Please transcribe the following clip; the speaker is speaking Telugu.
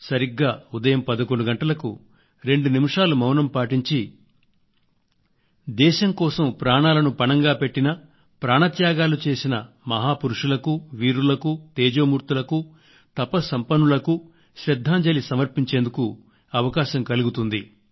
సరిగ్గా ఉదయం 11 గంటలకు రెండు నిమిషాలు మౌనం పాటించి దేశం కోసం ప్రాణాలను పణంగా పెట్టిన ప్రాణత్యాగాలు చేసిన హాపురుషులకు వీరులకు తేజోమూర్తులకు తపస్సంపన్నులకు శ్రద్ధాంజలి సమర్పించేందుకు అవకాశం కలుగుతుంది